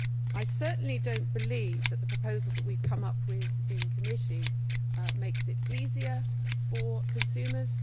I certainly do not believe that the proposal that we have come up with in committee makes it easier for consumers.